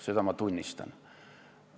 Seda ma tunnistan.